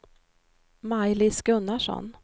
Maj-Lis Gunnarsson